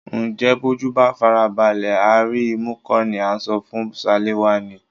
Ǹjẹ́ bójú bá farabalẹ̀ á rí imú kó ni à ń sọ fún Ṣaléwá ni?